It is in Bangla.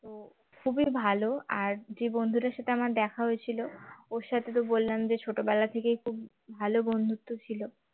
তো খুবই ভালো আর যে বন্ধুটার সাথে আমার দেখা হয়েছিল ওর সাথে তো বললাম যে ছোটবেলা থেকেই খুব ভালো বন্ধুত্ব ছিল